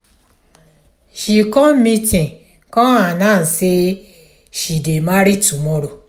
she come meeting come announce say she dey marry tomorrow